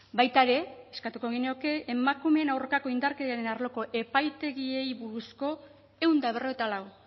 baita ere eskatuko genioke emakumeen aurkako indarkeriaren arloko epaitegiei buruzko ehun eta berrogeita lau